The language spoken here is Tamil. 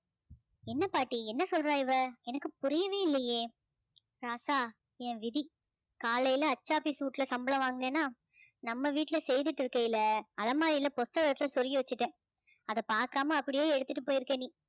என்ன பாட்டி என்ன சொல்றா இவள் எனக்கு புரியவே இல்லையே ராசா என் விதி காலையில அச்சு office வீட்டுல சம்பளம் வாங்கினேனா நம்ம வீட்டுல செய்திட்டு இருக்கையில அலமாறியில புஸ்தகத்துல சொருகி வச்சுட்டேன் அதை பார்க்காம அப்படியோ எடுத்துட்டு போயிருக்க நீ